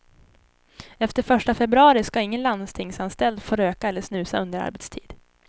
Efter första februari ska ingen landstingsanställd få röka eller snusa under arbetstid.